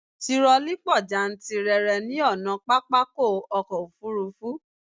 Tirọlí pọ jántìrere ní ọ̀nà pápákọ̀ ọ̀kọ òfurufú